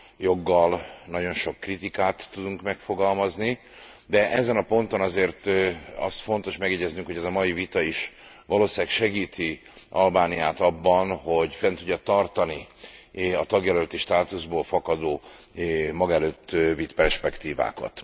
Joggal nagyon sok kritikát tudunk megfogalmazni, de ezen a ponton azért azt fontos megjegyeznünk, hogy ez a mai vita is valószínűleg segíti Albániát abban, hogy fent tudja tartani a tagjelölti státuszból fakadó maga előtt vitt perspektívákat.